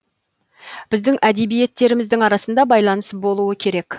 біздің әдебиеттеріміздің арасында байланыс болуы керек